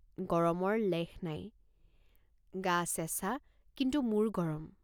গৰমৰ লেশ নাই। গা চেঁচা কিন্তু মূৰ গৰম।